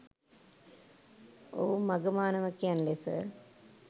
ඔහු මඝ මාණවකයන් ලෙස